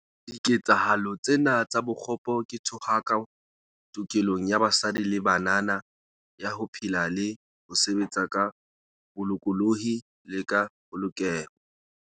Diketsahalo tsena tsa bokgopo ke thohako tokelong ya basadi le banana ya ho phela le ho sebetsa ka bolokolohi le ka polokeho.